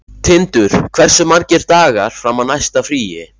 Tindur, hversu margir dagar fram að næsta fríi?